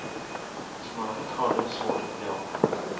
Smöret har de svårt att bli av med.